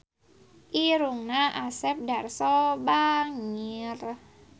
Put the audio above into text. Irungna Asep Darso bangir